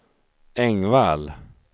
Engvall